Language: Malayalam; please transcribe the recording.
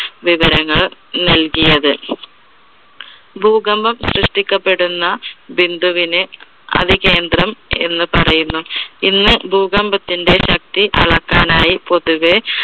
വിവരങ്ങൾ നൽകിയത്. ഭൂകമ്പം സൃഷ്ടിക്കപ്പെടുന്ന ബിന്ദുവിനെ അവികേന്ദ്രം എന്ന് പറയുന്നു. ഇന്ന് ഭൂകമ്പത്തിന്റെ ശക്തി അളക്കാനായി പൊതുവെ